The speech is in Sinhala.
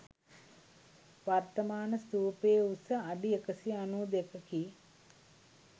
වර්තමාන ස්තූපයේ උස අඩි 192 කි.